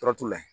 Tɔrɔ t'u la